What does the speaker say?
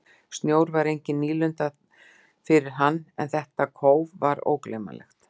Snjór var engin nýlunda fyrir hann en þetta þétta kóf var ógleymanlegt.